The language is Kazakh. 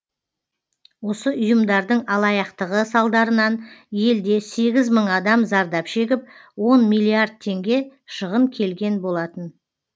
осы ұйымдардың алаяқтығы салдарынан елде сегіз мың адам зардап шегіп он миллиард теңге шығын келген болатын